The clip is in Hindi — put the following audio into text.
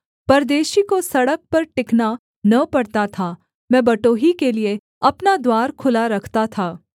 परदेशी को सड़क पर टिकना न पड़ता था मैं बटोही के लिये अपना द्वार खुला रखता था